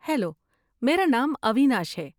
Hello, میرا نام اویناش ہے۔